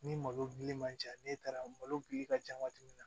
Ni malo gili man ca ne taara malo geli ka ca waati min na